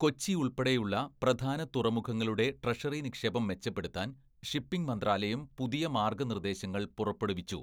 "കൊച്ചി ഉള്‍പ്പെടെയുള്ള പ്രധാന തുറമുഖങ്ങളുടെ ട്രഷറി നിക്ഷേപം മെച്ചപ്പെടുത്താന്‍ ഷിപ്പിംഗ് മന്ത്രാലയം പുതിയ മാര്‍ഗനിര്‍ദ്ദേശങ്ങള്‍ പുറപ്പെടുവിച്ചു "